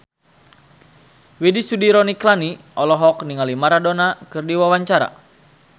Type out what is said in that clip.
Widy Soediro Nichlany olohok ningali Maradona keur diwawancara